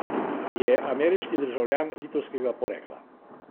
Je ameriški državljan litovskega porekla.